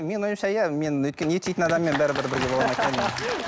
менің ойымша иә мен өйткені ет жейтін адаммен бәрібір